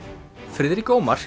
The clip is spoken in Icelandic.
Friðrik Ómar